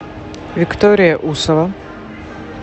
виктория усова